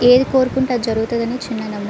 ఏది కోరుకుంటే అది జరిగితాది అని చిన్న నమ్మకం.